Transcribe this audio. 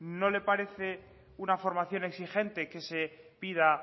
no le parece una formación exigente que se pida